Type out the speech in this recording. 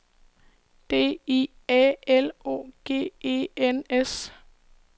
D I A L O G E N S